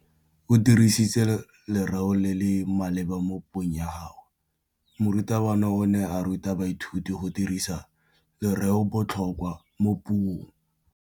O dirisitse lerêo le le maleba mo puông ya gagwe. Morutabana o ne a ruta baithuti go dirisa lêrêôbotlhôkwa mo puong.